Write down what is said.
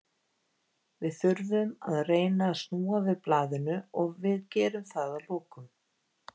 Við þurfum að reyna að snúa við blaðinu og við gerum það að lokum.